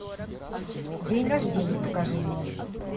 день рождения покажи мне